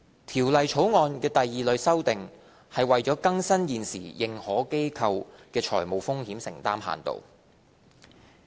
《條例草案》第二類的修訂是為更新現時認可機構的財務風險承擔限度。